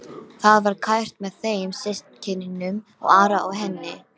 Það var kært með þeim systkinunum, Ara og henni.